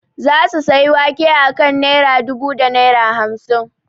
Za su sayi wake a kan naira dubu da naira hamsin